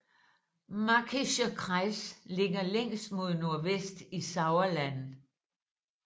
Märkischer Kreis ligger længst mod nordvest i Sauerland